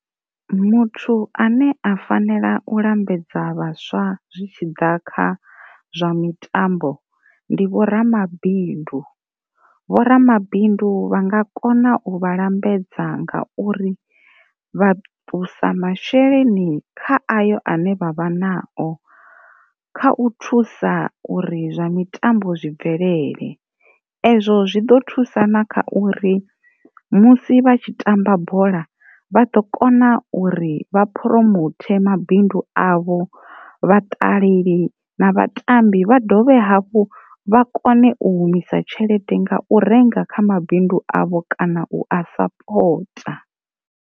Muthu ane a fanela u lambedza vhaswa zwi tshiḓa kha zwa mitambo ndi vho ramabindu, vho ramabindu vha nga kona u vha lambedza nga uri vha ṱusa masheleni kha ayo ane vha vha nao kha u thusa uri zwa mitambo zwi bvelele, ezwo zwi ḓo thusa na kha uri musi vha tshi tamba bola vha ḓo kona uri vha promote ma bindu avho vha ṱaleli na vhatambi vha dovhe hafhu vha kone u humisa tshelede nga u renga kha mabindu avho kana u a sapota.